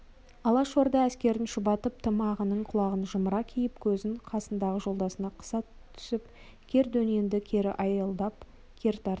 алашорда әскерін шұбатып тымағының құлағын жымыра киіп көзін қасындағы жолдасына қыса түсіп кер дөненді кері айылдап кер тартып